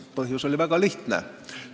Põhjus oli väga lihtne.